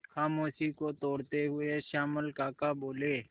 खामोशी को तोड़ते हुए श्यामल काका बोले